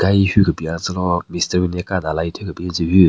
Ka hi hyu kebin yatselo mestari nyule ka dalai thyu kebin tsü hyu.